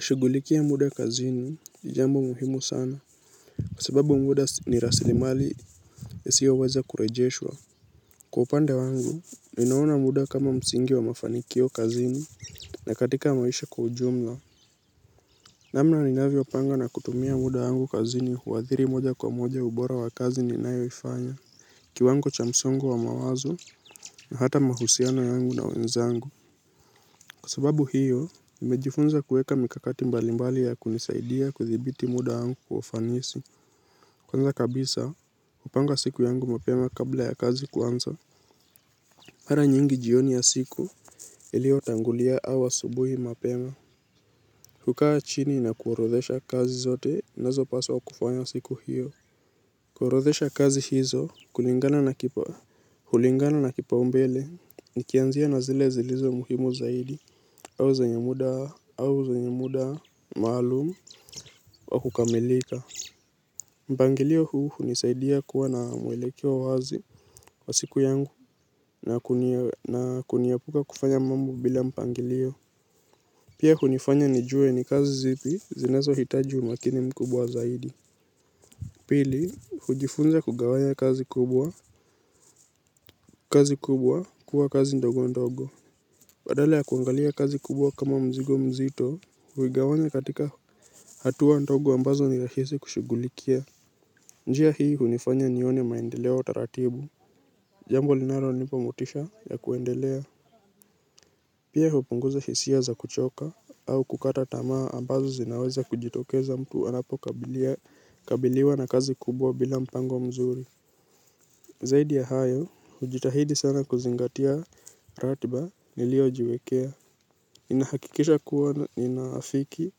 Shugulikia muda kazini ni jambo muhimu sana. Kwa sababu muda ni rasili mali yasiyoweza kurejeshwa. Kwa upande wangu, ninaona muda kama msingi wa mafanikio kazini na katika maisha kwa ujumla. Namna ninavyo panga na kutumia muda wangu kazini huathiri moja kwa moja ubora wa kazi ninayoifanya. Kiwango cha msongo wa mawazo na hata mahusiano yangu na wenzangu. Kwa sababu hiyo nimejifunza kuweka mikakati mbalimbali ya kunisaidia kuthibiti muda wangu kwa ufanisi kwanza kabisa hupanga siku yangu mapema kabla ya kazi kuanza mara nyingi jioni ya siku iliyotangulia au asubuhi mapema hukaa chini na kuorodhesha kazi zote nanizo paswa kufanya siku hiyo. Kuorodhesha kazi hizo kulingana na kipa hulingana na kipaumbele nikianzia na zile zilizo muhimu zaidi au zenye muda au zenye muda maalumu wa kukamilika. Mpangilio huu hunisaidia kuwa na mwelekeo wazi wa siku yangu na kuniepuka kufanya mambo bila mpangilio. Pia hunifanya nijue ni kazi zipi zinazo hitaji umakini mkubwa zaidi. Pili hujifunza kugawanya kazi kubwa kazi kubwa kuwa kazi ndogo ndogo. Badala ya kuangalia kazi kubwa kama mzigo mzito huigawanya katika hatua ndogo ambazo nirahisi kushugulikia. Njia hii hunifanya nione maendeleo taratibu. Jambo linalonipo motisha ya kuendelea. Pia hupunguza hisia za kuchoka au kukata tamaa ambazo zinaweza kujitokeza mtu anapo kabiliwa na kazi kubwa bila mpango mzuri. Zaidi ya hayo, hujitahidi sana kuzingatia ratiba niliyojiwekea. Inahakikisha kuwa inafiki,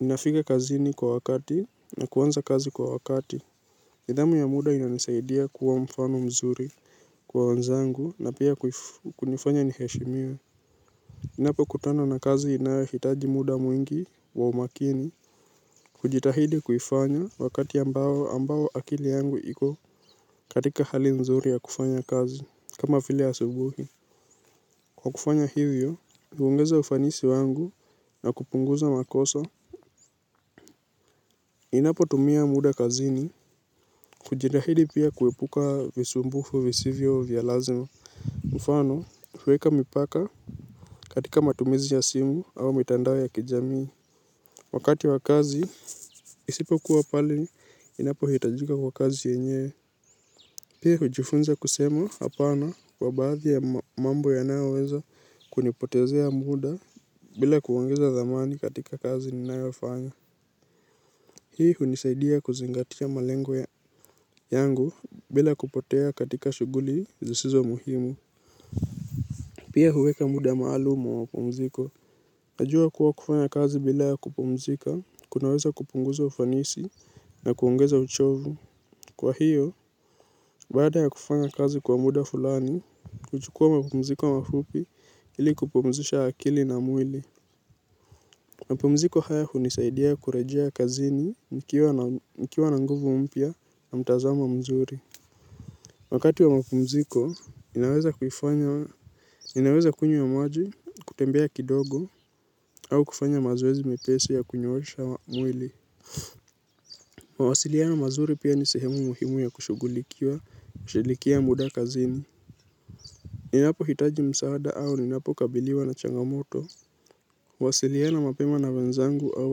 ninafika kazini kwa wakati na kuanza kazi kwa wakati. Nidhamu ya muda inanisaidia kuwa mfano mzuri kwa wenzangu na pia kunifanya niheshimiwe ninapokutana na kazi inayohitaji muda mwingi wa umakini hujitahidi kuifanya wakati ambao ambao akili yangu iko katika hali mzuri ya kufanya kazi kama vile asubuhi. Kwa kufanya hivyo, huongeza ufanisi wangu na kupunguza makosa. Inapo tumia muda kazini, hujitahidi pia kuepuka visumbufu visivyo vya lazima. Mfano, huweka mipaka katika matumizi ya simu au mitandao ya kijamii. Wakati wa kazi, isipokuwa pale, inapohitajika kwa kazi yenye pia hujifunza kusema apana kwa baadhi ya mambo yanayoweza kunipotezea muda bila kuongeza thamani katika kazi ninayofanya. Hii hunisaidia kuzingatia malengo yangu bila kupotea katika shuguli zisizo muhimu. Pia huweka muda maalum wa mapumziko. Najua kuwa kufanya kazi bila ya kupumzika, kunaweza kupunguza ufanisi na kuongeza uchovu. Kwa hiyo, baada ya kufanya kazi kwa muda fulani, huchukua mapumziko mafupi ili kupumzisha akili na mwili. Mapumziko haya hunisaidia kurejea kazini nikiwa na nguvu mpia na mtazamo mzuri. Wakati wa mapumziko, ninaweza kunywa maji, kutembea kidogo, au kufanya mazoezi mepesi ya kunyoosha mwili. Mawasiliano mazuri pia ni sehemu muhimu ya kushugulikiwa, shilikia muda kazini. Ninapo hitaji msaada au ninapo kabiliwa na changamoto huwasiliana mapema na wenzangu au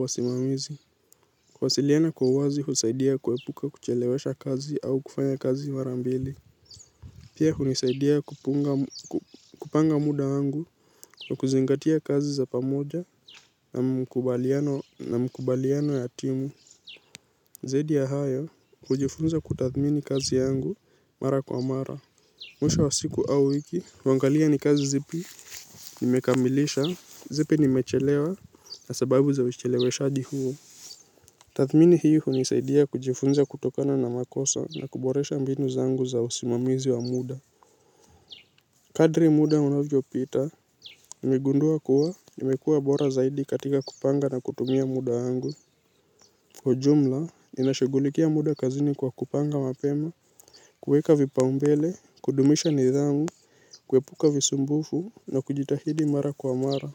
wasimamizi wasiliana kwa uwazi husaidia kuepuka kuchelewesha kazi au kufanya kazi mara mbili. Pia hunisaidia kupanga muda wangu wa kuzingatia kazi za pamoja na mkubaliano ya timu. Zaidi ya hayo hujifunza kutathmini kazi yangu mara kwa mara. Mwisho wa siku au wiki huangalia ni kazi zipi nimekamilisha zipi nimechelewa na sababu za ucheleweshaji huo. Tathmini hii hunisaidia kujifunza kutokana na makosa na kuboresha mbinu zangu za usimamizi wa muda. Kadri muda unavyo pita nimegundua kuwa nimekuwa bora zaidi katika kupanga na kutumia muda wangu kwa ujumla ninashugulikia muda kazini kwa kupanga mapema kuweka vipaumbele kudumisha nidhamu kuepuka visumbufu na kujitahidi mara kwa mara.